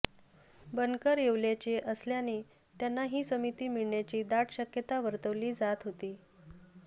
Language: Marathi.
बनकर येवल्याचे असल्याने त्यांना ही समिती मिळण्याची दाट शक्यता वर्तविली जात होती